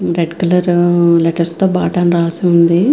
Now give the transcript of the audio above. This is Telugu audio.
రెడ్ కలర్ లెటర్స్ తో బాట అని రాసి ఉంది.